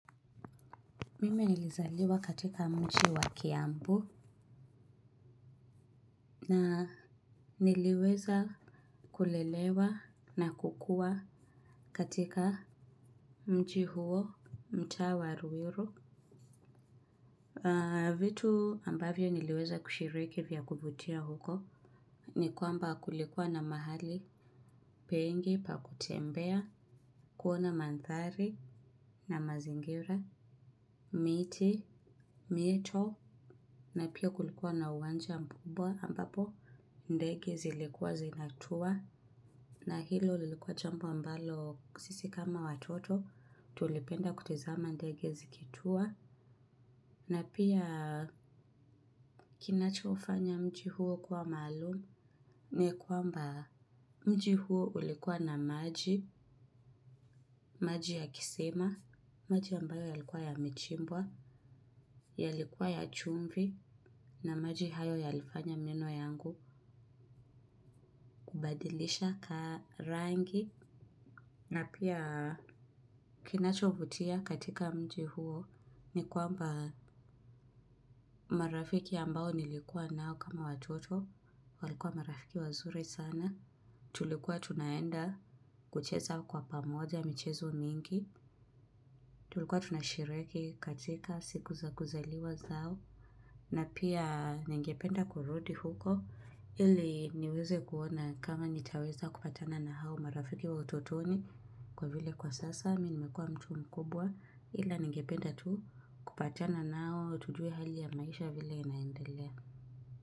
Mimi nilizaliwa katika mji wa kiambu. Na niliweza kulelewa na kukua katika mjii huo mtaa wa ruiru. Vitu ambavyo niliweza kushiriki vya kuvutia huko. Ni kwamba kulikuwa na mahali. Pengi pa kutembea kuona mandhari na mazingira, miti, mito. Na pia kulikuwa na uwanja mkubwa ambapo ndege zilikuwa zinatua na hilo lilikuwa jambu ambalo sisi kama watoto tulipenda kutizama ndegenzikitua na pia kinacho ufanya mji huo kuwa maalum ni kwamba mji huo ulikuwa na maji, maji ya kisima, maji ambayo yalikuwa yamechimbwa. Yalikuwa ya chumvi na maji hayo yalifanya meno yangu kubadilisha rangi. Na pia kinachovutia katika mji huo ni kwamba marafiki ambao nilikuwa nao kama watoto. Walikuwa marafiki wazuri sana. Tulikuwa tunaenda kucheza kwa pamoja michezo mingi. Tulikuwa tunashiriki katika siku za kuzaliwa zao. Na pia nengependa kurundi huko ili niweze kuona kama nitaweza kupatana na hao marafiki wa utotoni kwa vile kwa sasa mimi nimekua mtu mkubwa ila ningependa tu kupatana nao tujue hali ya maisha vile inaendelea.